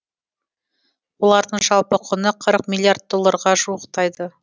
олардың жалпы құны қырық миллиард долларға жуықтайды